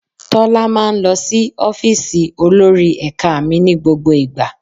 Tọ́lá máa ń lọ sí ọ́fíìsì olórí ẹ̀ka mi ní gbogbo ìgbà.